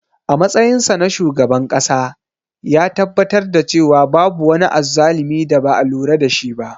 A matsayinsa na shugaban ƙasa, ya tabbatar da cewa babu wani azzalumi da ba a lura da shi ba.